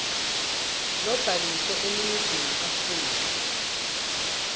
lobhaliswe eningizimu afrika